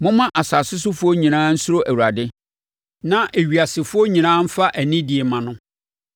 Momma asase sofoɔ nyinaa nsuro Awurade; na ewiasefoɔ nyinaa mfa anidie mma no.